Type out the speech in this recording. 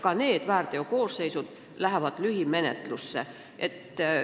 Ka need väärteokoosseisud lähevad lühimenetluse alla.